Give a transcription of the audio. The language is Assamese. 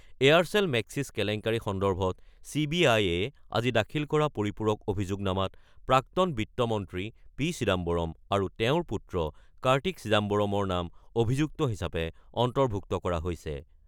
এয়াৰচেল-মেক্সিছ কেলেংকাৰী সন্দৰ্ভত চি বি আই-এ আজি দাখিল কৰা পৰিপূৰক অভিযোগনামাত প্ৰাক্তন বিত্ত মন্ত্ৰী পি চিদাম্বৰম আৰু তেওঁৰ পুত্ৰ কাৰ্টি চিদাম্বৰমৰ নাম অভিযুক্ত হিচাপে অন্তৰ্ভুক্ত কৰা হৈছে।